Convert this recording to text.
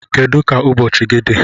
Kedu ka ụbọchị gị dị?